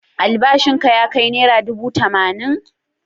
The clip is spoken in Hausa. Albashinka ya kai naira dubu tamanin?